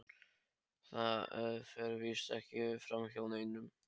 Það fer víst ekki framhjá neinum.